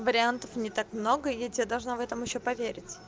вариантов не так много я тебе должна в этом ещё поверь